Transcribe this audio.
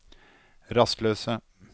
rastløse